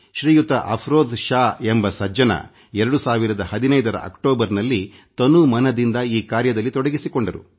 ಶ್ರೀಯುತ ಅಫರೋಜ್ ಶಾ ಎಂಬ ಸಜ್ಜನ 2015 ರ ಅಕ್ಟೋಬರ್ನಲ್ಲಿ ತನುಮನದಿಂದ ಈ ಕಾರ್ಯದಲ್ಲಿ ತೊಡಗಿಸಿಕೊಂಡರು